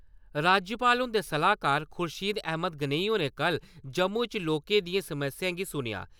राज्यपाल हुंदे सलाह्कार खुर्शीद अहमद गनेई होरें कल जम्मू च लोकें दियें समस्याएं गी सुनेआ।